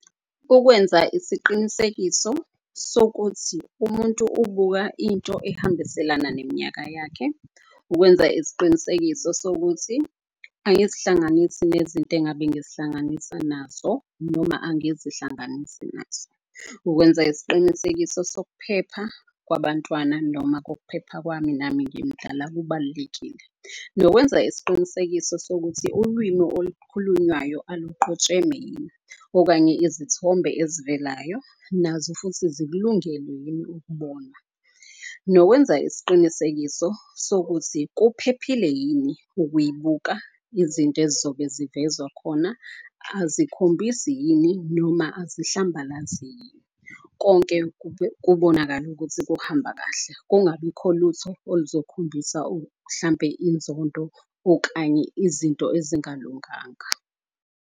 Ukwenza isiqinisekiso sokuthi umuntu ubuka into ehambiselana neminyaka yakhe. Ukwenza isiqinisekiso sokuthi angizihlanganisi nezinto engabe ngizihlanganisa nazo noma angizihlanganisi nazo. Ukwenza isiqinisekiso sokuphepha kwabantwana noma kokuphepha kwami nami ngimdala kubalulekile. Nokwenza isiqinisekiso sokuthi ulwimi olukhulunywayo oluqojeme yini. Okanye izithombe ezivelayo nazo futhi zikulungele yini ukubona. Nokwenza isiqinisekiso sokuthi kuphephile yini ukuyibuka, izinto ezizobe zivezwa khona, azikhombisi yini noma azihlambalazi yini. Konke kubonakale ukuthi kuhamba kahle, kungabikho lutho oluzokhombisa hlampe inzondo okanye izinto ezingalunganga.